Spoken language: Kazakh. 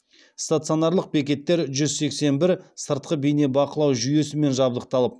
стационарлық бекеттер жүз сексен бір сыртқы бейнебақылау жүйесімен жабдықталып